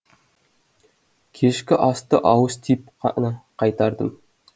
кешкі асты ауыз тиіп қана қайтардым